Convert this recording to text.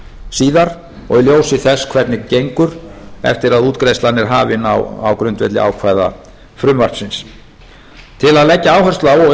síðan og í ljósi þess hvernig gengur eftir að útgreiðslan er hafin á grundvelli ákvæða frumvarpsins til að leggja áherslu á og